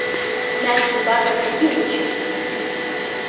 мягкий бархатный певучий